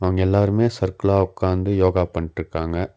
அவுங்க எல்லாருமே சர்க்குளா உக்காந்து யோகா பண்ட்ருக்காங்க.